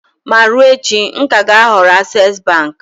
Ma ruo echi, m ka ga-ahọrọ access bank.